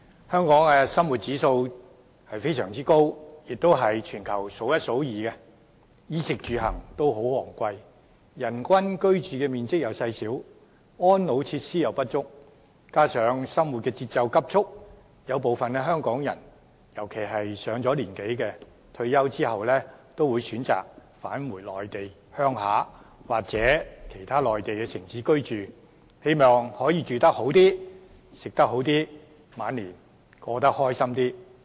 香港的生活指數非常高，算是全球數一數二，衣、食、住、行均十分昂貴，人均居住面積細小，安老設施不足，加上生活節奏急速，有部分香港人，尤其是上了年紀的長者，退休後均會選擇返回內地鄉下或其他內地城市居住，希望可以住好一些、吃好一些、晚年開心一些。